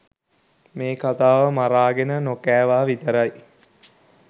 මේ කතාව මරාගෙන නොකෑවා විතරයි.